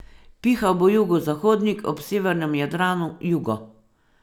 Pihal bo jugozahodnik, ob severnem Jadranu jugo.